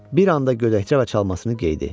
Bir anda gödəkçə və çalmasını geydi.